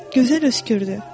Gözəl öskürdü.